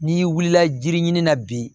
N'i wulila jiri ɲini na bi